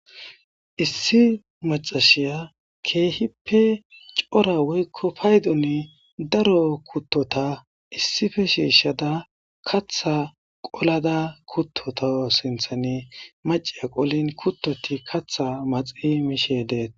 issi macashiya keehippe cora woykko paydone daro kuttota issife shiishshada katha qolada kuttota sinthane mace qolin kuttoti katha maxi miishedeet